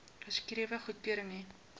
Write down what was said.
geskrewe goedkeuring hê